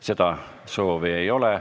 Seda soovi ei ole.